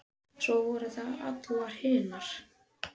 Og svo voru það allar hinar.